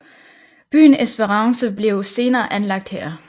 Byen Esperance blev senere anlagt her